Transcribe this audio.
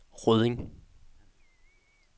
Rødding